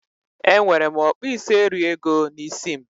Enwere m okpuisieriego n'isi m